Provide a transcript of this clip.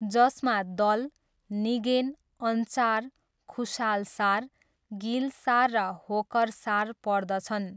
जसमा दल, निगेन, अन्चार, खुसाल सार, गिल सार र होकरसार पर्दछन्।